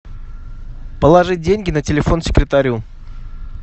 положить деньги на телефон секретарю